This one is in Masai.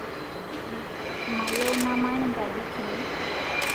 Mayieu namany nkaji kini